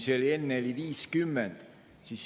Enne oli 50.